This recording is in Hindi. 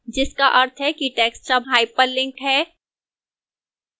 जिसका अर्थ है कि text अब hyperlink है